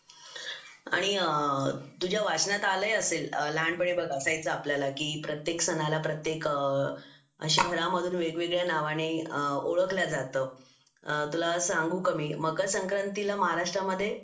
आणि तुझ्या वाचनात आलेली असेल लहानपणी असायचा आपल्याला की प्रत्येक सणाला प्रत्येक असं वेगवेगळ्या नावाने ओळखले जातो तुला सांगू का मी मकर संक्रांत तिला महाराष्ट्र मध्ये